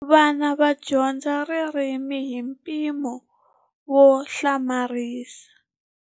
Vana va dyondza ririmi hi mpimo wo hlamarisa.